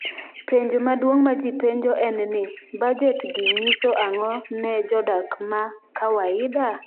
Penjo maduong’ ma ji penjo en ni, budget gi nyiso ang’o ne jodak ma kawaida?